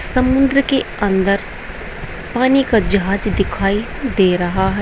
समुद्र के अंदर पानी का जहाज दिखाई दे रहा है।